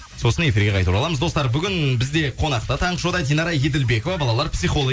сосын эфирге қайта ораламыз достар бүгін бізде қонақта таңғы шоуда динара еділбекова балалар